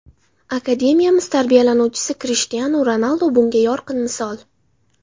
Akademiyamiz tarbiyalanuvchisi Krishtianu Ronaldu bunga yorqin misol.